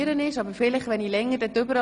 Geschäft 2017.RRGR.143